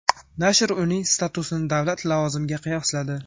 Nashr uning statusini davlat lavozimiga qiyosladi.